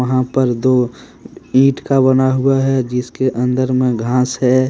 यहां पर दो ईट का बना हुआ है जिसके अंदर में घास है।